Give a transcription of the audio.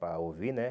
Para ouvir, né?